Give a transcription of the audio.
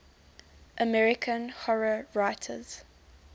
american horror writers